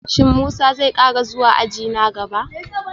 Shin Musa zai kara zuwa aji na gaba?